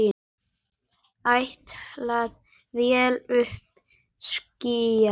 Áætluð vél uppí skýjum.